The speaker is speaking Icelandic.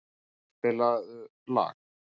Karkur, spilaðu lag.